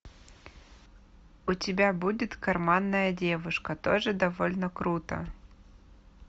у тебя будет карманная девушка тоже довольно круто